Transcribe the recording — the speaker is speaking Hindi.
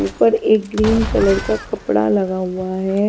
ऊपर एक ग्रीन कलर का कपड़ा लगा हुआ है।